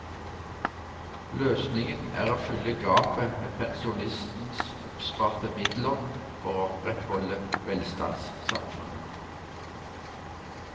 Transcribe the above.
Løsningen er å fylle gapet med pensjonistens oppsparte midler for å opprettholde velstandssamfunnet.